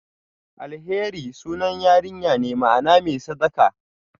Alheri sunan yarinya ne, ma'ana "mai sadaka".